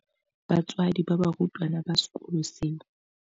Batswadi ba barutwana ba sekolo seo.